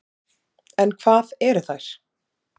En hvað eru þær?